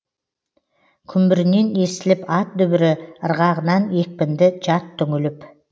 күмбірінен естіліп ат дүбірі ырғағынан екпінді жат түңіліп